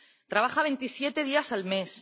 Trabaja veintisiete días al mes.